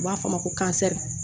U b'a fɔ a ma ko